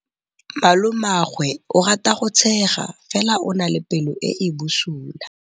Malomagwe o rata go tshega fela o na le pelo e e bosula.